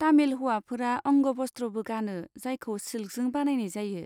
तामिल हौवाफोरा अंग'भस्ट्र'बो गानो जायखौ सिल्कजों बानायनाय जायो।